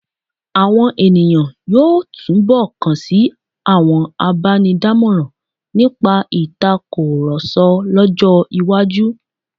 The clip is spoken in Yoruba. Àwọn ènìyàn yóò túnbọ̀ kan sí àwọn abánidámọ̀ràn nípa ìtakùrọ̀sọ lọ́jọ́-iwájú.